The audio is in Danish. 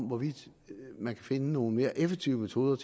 hvorvidt man kan finde nogle mere effektive metoder